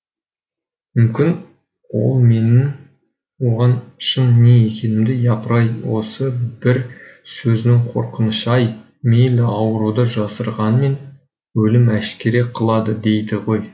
мүмкін ол менің оған шын не екенімді япыр ай осы бір сөздің қорқынышы ай мейлі ауруды жасырғанмен өлім әшкере қылады дейді ғой